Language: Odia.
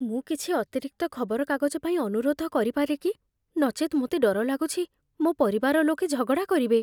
ମୁଁ କିଛି ଅତିରିକ୍ତ ଖବରକାଗଜ ପାଇଁ ଅନୁରୋଧ କରିପାରେ କି? ନଚେତ୍, ମୋତେ ଡର ଲାଗୁଛି, ମୋ ପରିବାର ଲୋକେ ଝଗଡ଼ା କରିବେ।